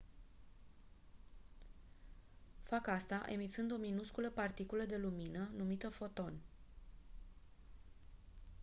fac asta emițând o minusculă particulă de lumină numită «foton».